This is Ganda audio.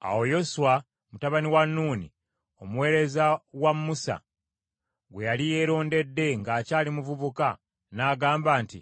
Awo Yoswa mutabani wa Nuuni, omuweereza wa Musa gwe yali yeerondedde ng’akyali muvubuka n’agamba nti,